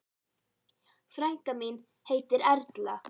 Frænka mín heitir Erla.